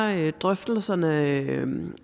er drøftelserne